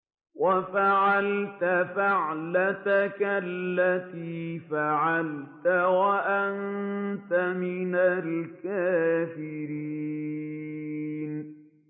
وَفَعَلْتَ فَعْلَتَكَ الَّتِي فَعَلْتَ وَأَنتَ مِنَ الْكَافِرِينَ